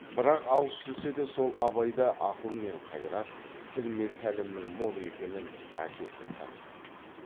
бірақ алыс жүрсе де сол абайда ақыл мен қайрат тіл мен тәлімнің мол екенін әкесі танитын